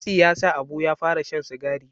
Matsi yasa abu ya fara shan sigari